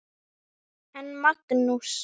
En Magnús